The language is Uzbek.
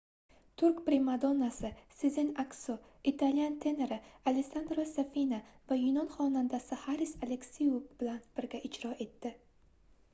turk primadonnasi sezen aksu italyan tenori alessandro safina va yunon xonandasi haris aleksiu bilan birga ijro etdi